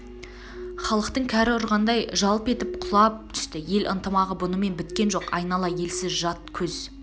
халықтың кәрі ұрғандай жалп етіп құлап түсті ел ынтымағы бұнымен біткен жоқ айнала елсіз жат көз